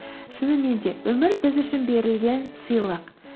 шынымен де өмір біз үшін берілген сыйлық